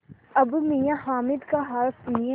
अब मियाँ हामिद का हाल सुनिए